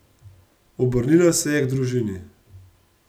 Obrnila se je k družini.